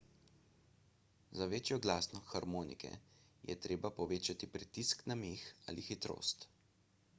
za večjo glasnost harmonike je treba povečati pritisk na meh ali hitrost